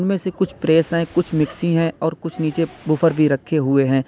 उनमें से कुछ प्रेस हैं कुछ मिक्सी हैं और कुछ नीचे वूफर भी रखे हुए हैं।